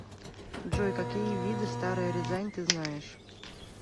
джой какие виды старая рязань ты знаешь